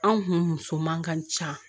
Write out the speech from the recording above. Anw kun muso man ka ca